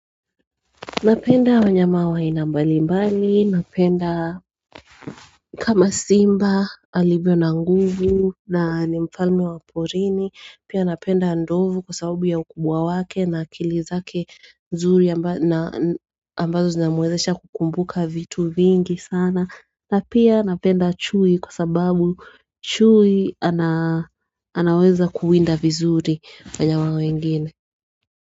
Napenda wanyama wa aina mbali mbali, napenda kama simba alivyo na nguvu nani mfalme wa porini. Pia napenda ndovu kwa sababu ya ukubwa wake na akili zake nzuri ambazo zinamwezesha kukumbuka vitu vingi sana. Na pia napenda chui kwa sababu chui anaweza kuwinda vizuri wanyama wengine.